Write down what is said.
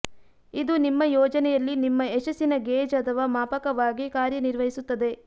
ಇದು ನಿಮ್ಮ ಯೋಜನೆಯಲ್ಲಿ ನಿಮ್ಮ ಯಶಸ್ಸಿನ ಗೇಜ್ ಅಥವಾ ಮಾಪಕವಾಗಿ ಕಾರ್ಯನಿರ್ವಹಿಸುತ್ತದೆ